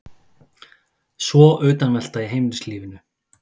Svo utanveltu í heimilislífinu.